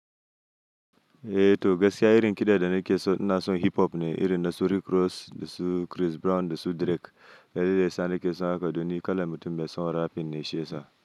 Eh to gaskiya irin kiɗa da nake so na son hip hop ne, irin na su Rick Ross da su Chris Brown da su Drake. Dalilai sa nake son haka, domin kala mutum mai son rap ne shi yasa.